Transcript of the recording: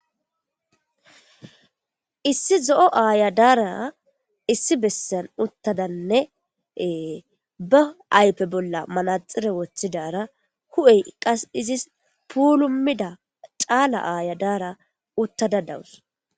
Issi zo'o ayo dara issi besan utadanne be ayfe bolla manaxire wothidara huphey qase izis pulumida cala Aya dara utada dawusi